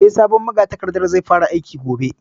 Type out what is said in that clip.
Eh, sabon magatakardan zai fara aiki gobe